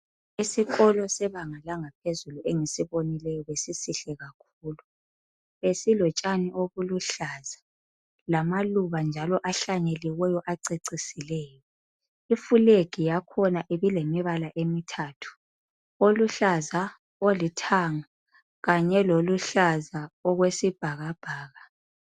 Isikolo sebanga langaphezulu engisibonileyo besisihle kakhulu. Besilotshana obuluhlaza lamaluba njalo acecisileyo. Ifulegi yakhona ibilemibala emithathu oluhlaza olithanga Kanye loluhlaza okwesibhakabhaka.